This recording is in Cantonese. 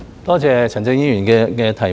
多謝陳振英議員的補充質詢。